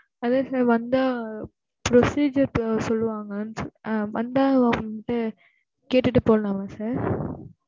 அதான் sir வந்தா procedure சொல்லுவாங்க ஆ வந்தா வந்துட்டு கேட்டுட்டு போலாமா sir?